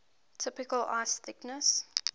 typical ice thickness